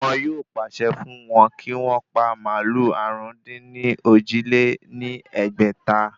Wọn yóò pàṣẹ fún wọ́n kí wọ́n pa màálù àrún-dín-ní-ojì lé ní ẹgbẹ́ta